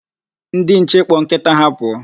Ndi nche kpọ nkita ha pụọ.